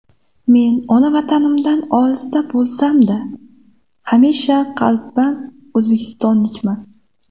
Men ona Vatanimdan olisda bo‘lsam-da, hamisha qalban o‘zbekistonlikman.